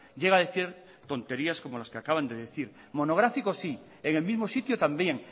llega a decir tonterías como las que acaban de decir monográfico sí en el mismo sitio también